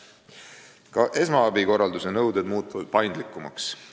Ka esmaabikorralduse nõuded muutuvad paindlikumaks.